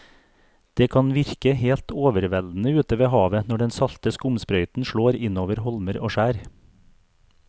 Det kan virke helt overveldende ute ved havet når den salte skumsprøyten slår innover holmer og skjær.